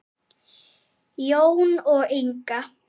Jón og Inga.